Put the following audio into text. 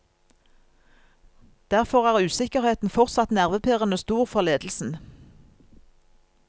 Derfor er usikkerheten fortsatt nervepirrende stor for ledelsen.